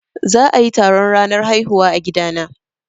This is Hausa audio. Za a yi taron ranar haihuwa a gida na